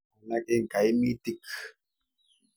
Alak eng' kaimitik.